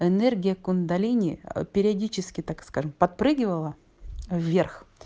энергия кундалини периодически так скажем подпрыгивала вверх